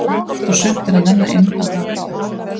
Allt og sumt er að nenna inn að ná í það.